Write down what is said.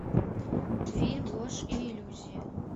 фильм ложь и иллюзии